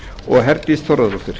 og herdís þórðardóttir